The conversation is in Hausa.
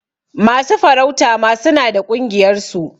Masu farauta ma suna da ƙungiyar su.